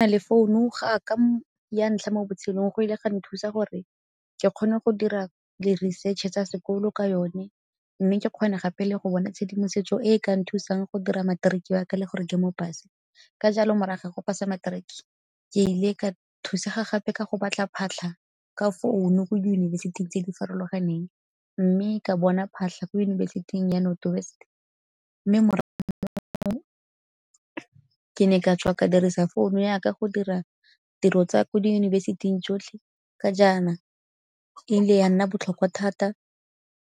Na le founu ga ka ya ntlha mo botshelong go ile ga nthusa gore ke kgone go dira di-research-e tsa sekolo ka yone mme ke kgone gape le go bona tshedimosetso e e ka nthusang go dira materiki waka le gore ke mo pass. Ka jalo morago ga go pass-a materiki ke ile ka thusa ga gape ka go batla phatlha ka phone-u ko diyunibesithi tse di farologaneng mme ka bona phatlha ko yunibesiting ya North West. Mme morago mo ke ne ka tswa ka dirisa founu ya ka go dira tiro tsa ko di yunibesiting jotlhe ka jaana e ile ya nna botlhokwa thata